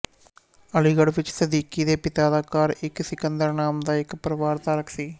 ਅਲੀਗੜ੍ਹ ਵਿੱਚ ਸਦੀਕੀ ਦੇ ਪਿਤਾ ਦਾ ਘਰ ਇੱਕ ਸਿਕੰਦਰ ਨਾਮ ਦਾ ਇੱਕ ਪਰਵਾਰ ਧਾਰਕ ਸੀ